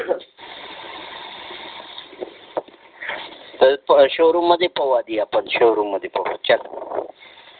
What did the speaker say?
तर शोरूम मध्ये पाहू आपण आधी चल शोरूम मध्ये पाहू चल शोरूम मध्ये चालायला